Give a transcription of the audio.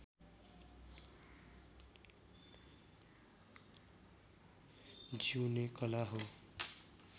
जिउने कला हो